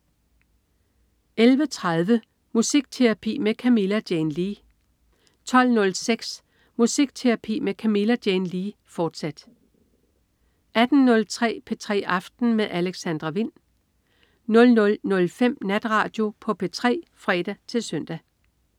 11.30 Musikterapi med Camilla Jane Lea 12.06 Musikterapi med Camilla Jane Lea, fortsat 18.03 P3 aften med Alexandra Wind 00.05 Natradio på P3 (fre-søn)